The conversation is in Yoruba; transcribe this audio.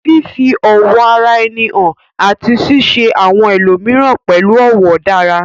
Fífi ọ̀wọ̀ ara ẹni hàn àti ṣíṣe àwọn ẹlòmíràn pẹ̀lú ọ̀wọ̀ dára